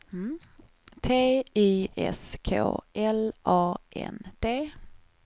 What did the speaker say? T Y S K L A N D